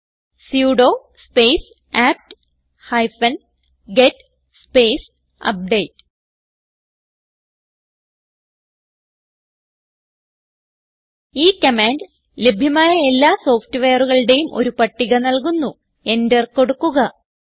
type ചെയ്യുക sudo space apt hyphen get space update ഈ command ലഭ്യമായ എല്ലാ സോഫ്റ്റ്വെയറുകളുടേയും ഒരു പട്ടിക നൽകുന്നു എന്റർ കൊടുക്കുക